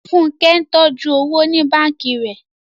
Fúnkẹ́ ń tọ́jú owó ní báǹkì rẹ̀